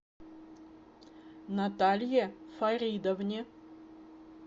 наталье фаридовне